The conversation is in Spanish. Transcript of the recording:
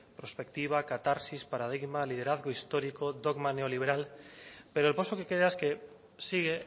prospectiva catarsis paradigma liderazgo histórico dogma neoliberal pero el poso que queda es que sigue